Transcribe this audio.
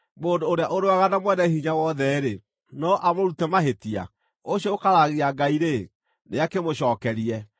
“Mũndũ ũrĩa ũrũaga na Mwene-Hinya-Wothe-rĩ, no amũrute mahĩtia? Ũcio ũkararagia Ngai-rĩ, nĩakĩmũcookerie!”